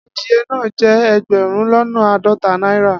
Adiye naa je egberun lona aadota naira